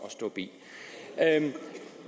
at stå bi